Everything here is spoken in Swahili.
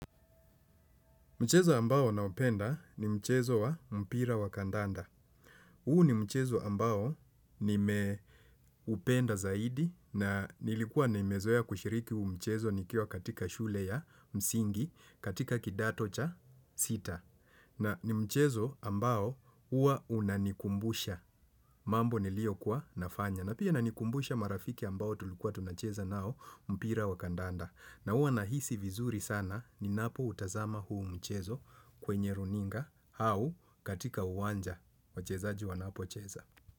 Mchezo ambao na upenda ni mchezo wa mpira wa kandanda. Huu ni mchezo ambao nime upenda zaidi na nilikuwa na nimezoea kushiriki huu mchezo nikiwa katika shule ya msingi katika kidato cha sita. Na ni mchezo ambao huwa unanikumbusha mambo nilio kuwa nafanya. Na pia inanikumbusha marafiki ambao tulikuwa tunacheza nao mpira wa kandanda. Na huwa na hisi vizuri sana ni napo utazama huu mchezo kwenye runinga au katika uwanja. Wachezaji wa napocheza.